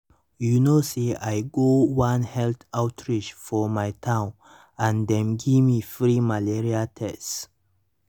you know say i say i go one health outreach for my town and dem give me free malaria tests.